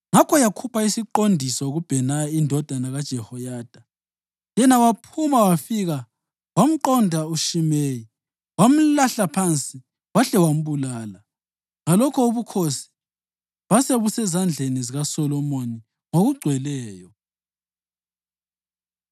Ngakho yakhupha isiqondiso kuBhenaya indodana kaJehoyada, yena waphuma wafika wamnqonda uShimeyi wamlahla phansi wahle wambulala. Ngalokho ubukhosi basebusezandleni zikaSolomoni ngokugcweleyo.